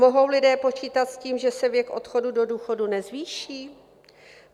Mohou lidé počítat s tím, že se věk odchodu do důchodu nezvýší?